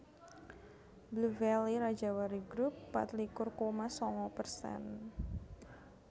Blue Valley Rajawali Grup patlikur koma sanga persen